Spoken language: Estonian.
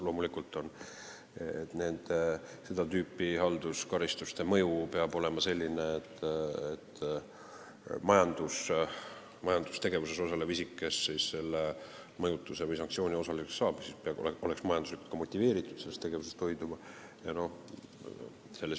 Loomulikult peab seda tüüpi halduskaristuste mõju olema selline, et majandustegevuses osalev isik, kes selle mõjutuse või sanktsiooni osaliseks saab, oleks majanduslikult motiveeritud ebaseaduslikust tegevusest hoiduma.